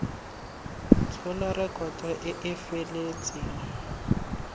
tshola rekoto e e feletseng